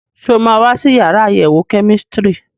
Ṣé o máa wá sí yàrá àyẹ̀wò kẹ́mísítírì?